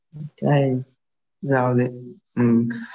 काय जाऊदे हम्म .